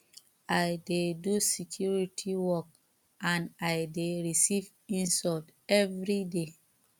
i dey do security work and i dey receive insult everyday